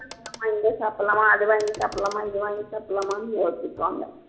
இங்க சாப்பிடலாமா அதை வாங்கி சாப்பிடலாமா இது வாங்கி சாப்பிடலாமான்னு யோசிப்பாங்க